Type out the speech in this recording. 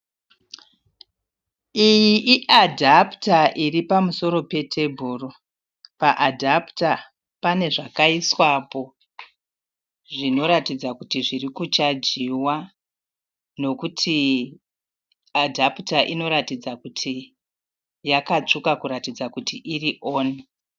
Iyi iadhaputa iri pamusoro petebhuru. Paadhaputa pane zvakaiswapo zvinoratidza kuti zviri kuchajiwa nokuti adhaputa inoratidza kuti yakatsvuka kuratidza kuti iri oni.